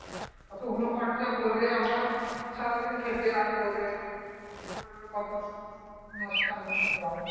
অতগুলো খরচা করে আবার সারাদিন খেটে . এবার কত লোকসান হচ্ছে ভাব